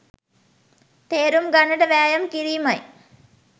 තේරුම් ගන්නට වෑයම් කිරීමයි